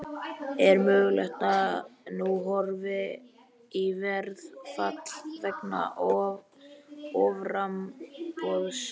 Er mögulegt að nú horfi í verðfall vegna offramboðs?